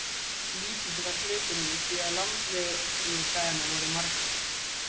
Lítill var hluturinn því að landlegudagarnir voru margir.